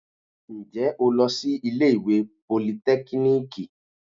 Ǹjẹ́ o lọ sí ilé ìwé politẹ́kíníìkì?